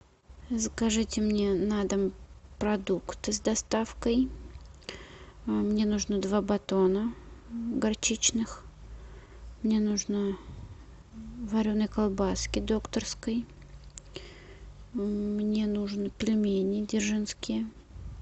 закажите мне на дом продукты с доставкой мне нужны два батона горчичных мне нужно вареной колбаски докторской мне нужно пельмени дзержинские